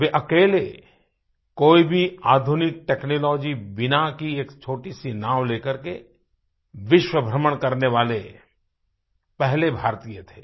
वे अकेले कोई भी आधुनिक टेक्नोलॉजी बिना की एक छोटी सी नाव ले करके विश्व भ्रमण करने वाले पहले भारतीय थे